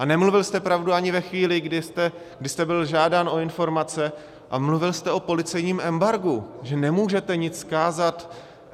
A nemluvil jste pravdu ani ve chvíli, kdy jste byl žádán o informace, a mluvil jste o policejním embargu, že nemůžete nic vzkázat.